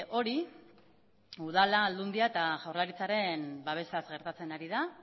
hori udala aldundia eta jaurlaritzaren babesaz gertatzen ari da